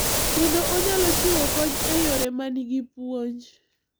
Kendo onyalo chiwo kony e yore ma nigi puonj.